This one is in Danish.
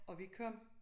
Og vi kom